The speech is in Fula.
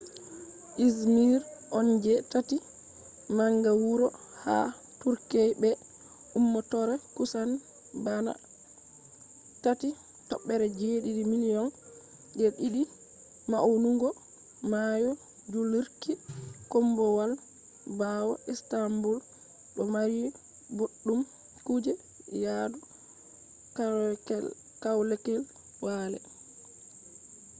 izmir on je tati manga wuro ha turkey be ummatore kusan bana 3.7 million je didi maunugo mayo dillurki kombowal bawo istanbul do mari boddum kuje yadu kwalekwale